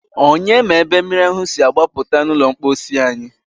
Onye ma ebe mmiri ahụ si agbapụta n'ụlọ mposi anyị?